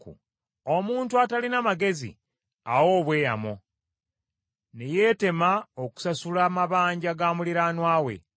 Omuntu atalina magezi awa obweyamo ne yeetema okusasula amabanja ga muliraanwa we.